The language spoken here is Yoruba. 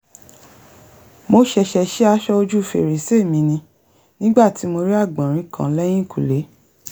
mo ṣẹ̀ṣẹ̀ sí aṣọ ojú fèrèsé mi ni nígbà tí mo rí àgbọ̀nrín kan lẹ́yìnkùlé